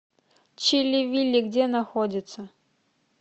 чилли вилли где находится